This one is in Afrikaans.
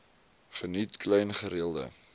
geniet klein gereelde